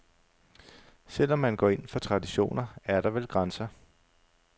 Selv om man går ind for traditioner, er der vel grænser.